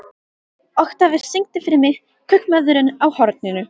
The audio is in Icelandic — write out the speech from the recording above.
Oktavíus, syngdu fyrir mig „Kaupmaðurinn á horninu“.